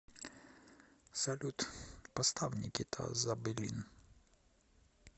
салют поставь никита забелин